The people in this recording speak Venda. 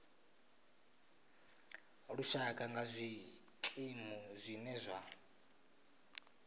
lushaka nga zwikimu zwine zwa